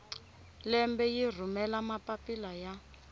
lembe yi rhumela mapapila ya